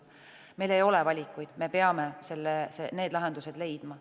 Meil ei ole valikuid, me peame need lahendused leidma.